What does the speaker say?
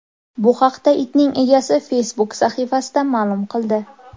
Bu haqda itning egasi Facebook sahifasida ma’lum qildi .